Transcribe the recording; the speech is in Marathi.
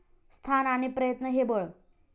स्थान आणि प्रयत्न हे बळ.